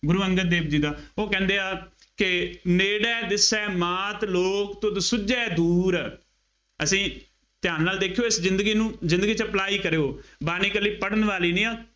ਗੁਰੂ ਅੰਗਦ ਦੇਵ ਜੀ ਦਾ, ਉਹ ਕਹਿੰਦੇ ਆ ਕਿ, ਨੇੜੇ ਦਿਸੈ ਮਾਤ ਲੋਕ ਤੁਧ ਸੁੱਝੇ ਦੂਰ, ਅਸੀਂ ਧਿਆਨ ਨਾਲ ਦੇਖਿਉ ਇਸ ਜ਼ਿੰਦਗੀ ਨੂੰ, ਜ਼ਿੰਦਗੀ ਚ apply ਕਰਿਉ, ਬਾਣੀ ਇਕੱਲੀ ਪੜ੍ਹਨ ਵਾਲੀ ਨਹੀਂ ਆ,